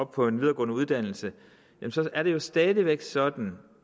på en videregående uddannelse er det jo stadig væk sådan